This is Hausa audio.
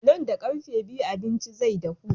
Nan da ƙarfe biyu abincin zai dahu.